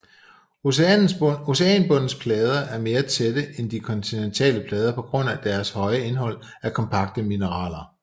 Oceanbundens plader er mere tætte end de kontinentale plader på grund af deres højere indhold af kompakte mineraler